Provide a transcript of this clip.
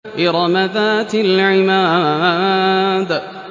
إِرَمَ ذَاتِ الْعِمَادِ